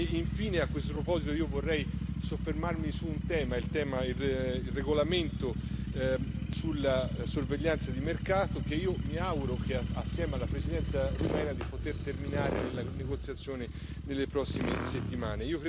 E infine, a questo proposito, io vorrei soffermarmi su un tema, il regolamento sulla sorveglianza di mercato, che io mi auguro, assieme alla Presidenza rumena, di poter terminare nella negoziazione nelle prossime settimane.